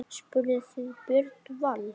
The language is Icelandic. Spurðuð þið Björn Val?